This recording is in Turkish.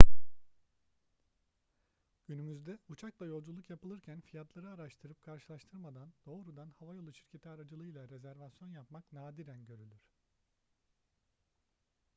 günümüzde uçakla yolculuk yapılırken fiyatları araştırıp karşılaştırmadan doğrudan havayolu şirketi aracılığıyla rezervasyon yapmak nadiren görülür